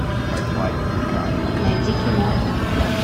найди кино